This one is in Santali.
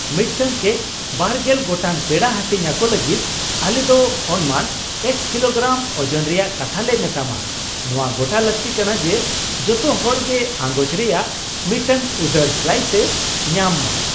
ᱢᱤᱫᱴᱟᱝ ᱠᱮᱠ ᱒᱐ ᱜᱚᱴᱟᱝ ᱯᱮᱲᱟ ᱦᱟᱹᱴᱤᱧ ᱟᱠᱚ ᱞᱟᱹᱜᱤᱫ, ᱟᱞᱮ ᱫᱚ ᱚᱱᱢᱟᱱ X ᱠᱤᱞᱳᱜᱨᱟᱢ ᱳᱡᱚᱱ ᱨᱮᱭᱟᱜ ᱠᱟᱛᱷᱟ ᱞᱮ ᱢᱮᱛᱟᱢᱟ ᱾ ᱱᱚᱶᱟ ᱜᱚᱴᱟ ᱞᱟᱹᱠᱛᱤ ᱠᱟᱱᱟ ᱡᱮ ᱡᱚᱛᱚ ᱦᱚᱲ ᱜᱮ ᱟᱝᱜᱚᱪ ᱨᱮᱭᱟᱜ ᱢᱤᱫᱴᱟᱝ ᱩᱫᱟᱹᱨ ᱥᱞᱟᱭᱤᱥᱮ ᱧᱟᱢᱼᱢᱟ ᱾